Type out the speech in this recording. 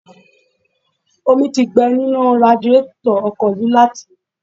Omi ti gbẹ nínú radiétọ̀ ọkọ̀ yìí láti